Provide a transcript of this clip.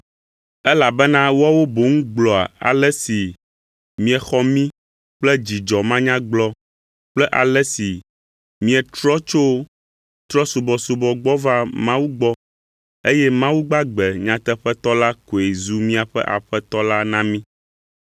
elabena woawo boŋ gblɔa ale si miexɔ mí kple dzidzɔ manyagblɔ kple ale si mietrɔ tso trɔ̃subɔsubɔ gbɔ va Mawu gbɔ, eye Mawu gbagbe nyateƒetɔ la koe zu miaƒe Aƒetɔ la na mí.